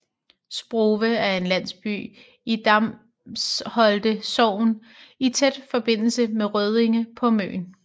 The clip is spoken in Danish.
Sprove er en landsby i Damsholte Sogn i tæt forbindelse med Røddinge på Møn